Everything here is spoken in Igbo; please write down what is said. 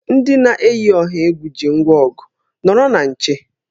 Ndị na-eyi ọha egwu ji ngwa ọgụ, nọrọ na nche!